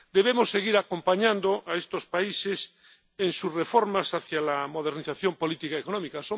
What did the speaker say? Debemos seguir acompañando a estos países en sus reformas hacia la modernización política y económica.